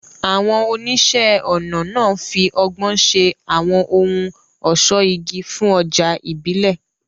Àwọn oníṣẹ́-ọnà náà fi ọgbọ́n ṣe àwọn ohun ọ̀ṣọ́ igi fún ọjà ìbílẹ̀.